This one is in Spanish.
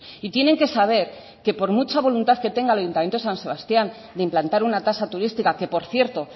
y tienen que saber que por mucha voluntad que tenga el ayuntamiento de san sebastián de implantar una tasa turística que por cierto